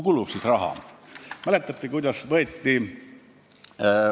Kuhu siis raha kulub?